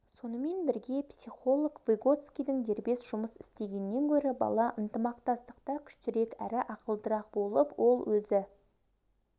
сонымен бірге психолог выготскийдің дербес жұмыс істегеннен гөрі бала ынтымақтастықта күштірек әрі ақылдырақ болып ол өзі